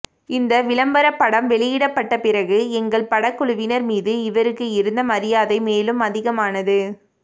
இந்த விளம்பரப்படம் வெளியிடப்பட்டபிறகு எங்கள் படக்குழுவினர் மீது இவருக்கு இருந்த மரியாதை மேலும் அதிகமானது